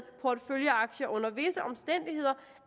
porteføljeaktier under visse omstændigheder